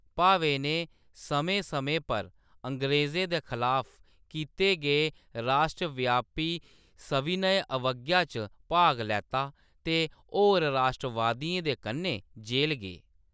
भावे ने समें-समें पर अंग्रेजें दे खलाफ कीते गे राश्ट्रव्यापी सविनय अवज्ञा च भाग लैता ते केईं होर राश्ट्रवादियें दे कन्नै जेल गे।